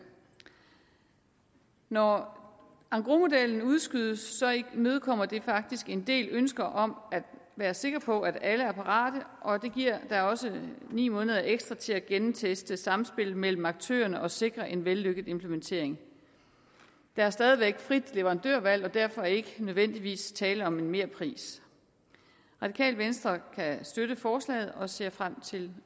når engrosmodellen udskydes imødekommer det faktisk en del ønsker om at være sikker på at alle er parate og det giver da også ni måneder ekstra til at gennemteste samspillet mellem aktørerne og sikre en vellykket implementering der er stadig væk frit leverandørvalg og derfor er der ikke nødvendigvis tale om en merpris radikale venstre kan støtte forslaget og ser frem til